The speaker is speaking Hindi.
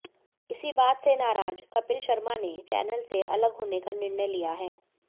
इसी बात से नाराज कपिल शर्मा ने चैनल से अलग होने का निर्णय लिया है